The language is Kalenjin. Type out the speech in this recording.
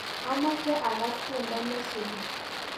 Amache agaas tyendo nesupi